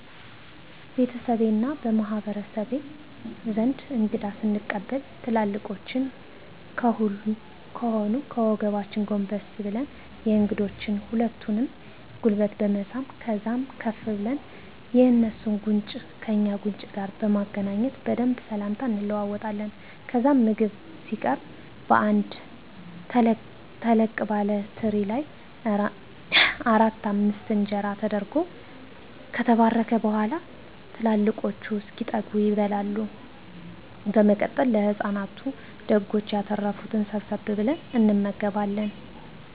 ቤተሰቤ እና በማህበረሰቤ ዘንድ እንግዳ ስንቀበል ትላልቆቻችን ከሆኑ ከወገባችን ጎንበስ ብለን የእንግዶችን ሁለቱንም ጉልበት በመሳም ከዛም ከፍ ብለን የእንሱን ጉንጭ ከእኛ ጉንጭ ጋር በማገናኘት በደንብ ስላምታ እንለዋወጣለን። ከዛም ምግብ ሲቀረብ በአንድ ተለቅ ባለ ትሪ ላይ አራት አምስት እንጀራ ተደርጎ ከተባረከ በኋላ ትላልቆቹ እስኪጠገቡ ይበላል። በመቀጠል ለህፃናቱ ደጎች ያተረፋትን ሰብሰብ ብለን እንመገባለን።